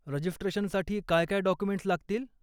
रजिस्ट्रेशनसाठी काय काय डॉक्युमेंट्स् लागतील?